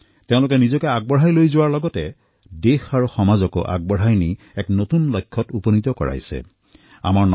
তেওঁলোকে নিজক আগবঢ়াই লৈ যোৱাৰ উপৰিও দেশ আৰু সমাজকো আগবঢ়াই নি এক নতুন লক্ষ্যত উপনীত কৰাৰ বাবে কাম কৰিছে